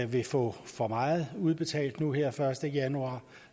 vil få for meget udbetalt nu her første januar